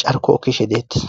carko kishe deettis